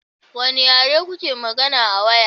Wane yare kuke magana a waya?